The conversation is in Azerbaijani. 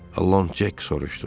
Loncek soruşdu.